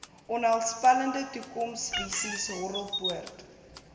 onheilspellende toekomsvisies horrelpoot